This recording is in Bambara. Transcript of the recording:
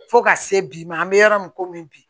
Fo ka se bi ma an bɛ yɔrɔ min komi bi